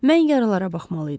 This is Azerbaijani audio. Mən yaralara baxmalıydım.